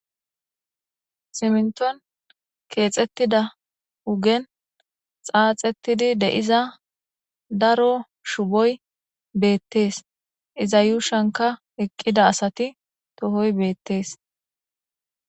siminton keexettida hugen xaaxettidi deiza daro shuboy beettees iza yuushanka eqqida asati tohoy beettees